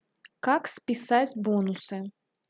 как списать бонусы